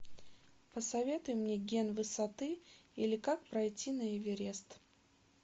посоветуй мне ген высоты или как пройти на эверест